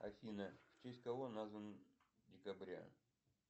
афина в честь кого назван декабря